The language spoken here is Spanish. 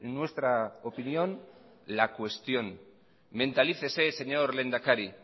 nuestra opinión la cuestión mentalícese señor lehendakari